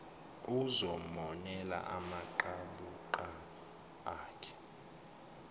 uzomonela amaqabuqabu akhe